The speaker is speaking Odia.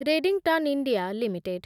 Redington India limited